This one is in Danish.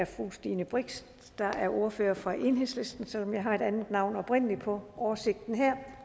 er fru stine brix der er ordfører fra enhedslisten selv om jeg oprindelig har et andet navn på oversigten her